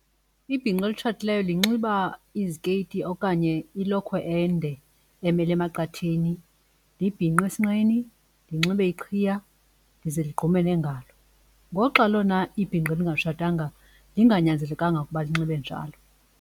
Ibhinqa elitshatileyo linxiba izikeyiti okanye ilokhwe ende emele emaqatheni, libhinqe esinqeni, linxibe iqhiya lize ligqume neengalo ngoxa lona ibhinqa elingatshatanga linganyanzeleka ukuba linxibe njalo.